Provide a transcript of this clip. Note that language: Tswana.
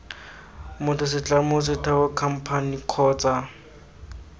motho setlamo setheo khamphane kgotsa